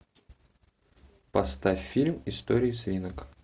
поставь фильм истории свинок